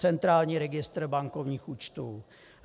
Centrální registr bankovních účtů.